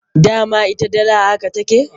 Dama ita dala haka take.